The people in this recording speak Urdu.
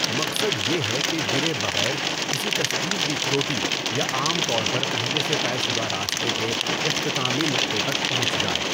مقصد یہ ہے کہ گرے بغیر کسی تشکیل کی چوٹی یا عام طور پر پہلے سے طے شدہ راستے کے اختتامی نقطہ تک پہنچ جائے۔